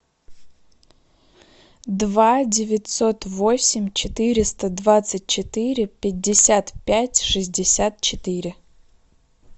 два девятьсот восемь четыреста двадцать четыре пятьдесят пять шестьдесят четыре